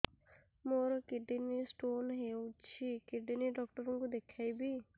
ମୋର kidney stone ହେଇଛି kidney doctor କୁ ଦେଖାଇବି